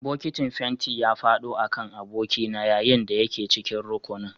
Bokitin fenti ya faɗo a kan abokina yayin da yake cikin rukunin